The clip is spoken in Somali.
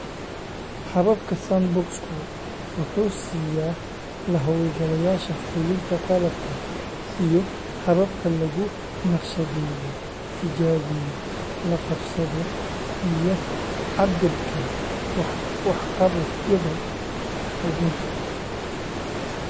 Habka sandbox-ku wuxuu siiya la-hawlgalayaasha fulinta qalabka iyo hababka lagu naqshadeeyo, tijaabiyo, la qabsado, iyo cabbirka waxqabadyada xuddunta.